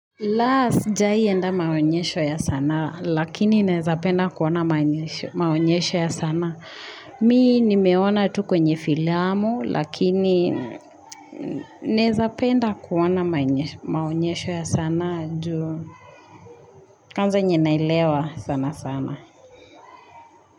La sijai enda maonyesho ya sanaa, lakini naezapenda kuona maonyesho ya sanaa. Mi nimeona tu kwenye filiamu, lakini naezapenda kuona maonyesho ya sanaa juu. Kwanza enye naelewa sana sana.